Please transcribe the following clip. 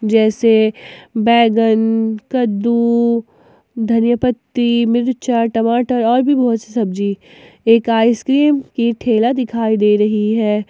जैसे बैगन कन कद्दू धनिया पत्ती मिर्चा टमाटर और भी बहुत सी सब्जी एक आइस क्रीम की ठेला दिखाई दे रही है।